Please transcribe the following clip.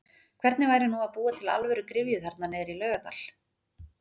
Hvernig væri nú að búa til alvöru gryfju þarna niðrí Laugardal?!!